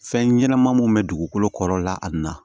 Fɛn ɲɛnɛma mun bɛ dugukolo kɔrɔ la a na